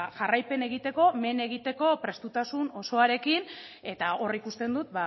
jarraipena egiteko men egiteko prestutasun osoarekin eta hori ikusten dut